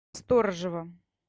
сторожева